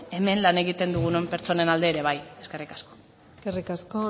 hemen lan egiten dugun pertsonen alde ere bai eskerrik asko eskerrik asko